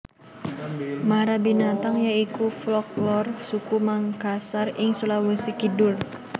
Marabintang ya iku folklor suku Mangkasar ing Sulawesi Kidul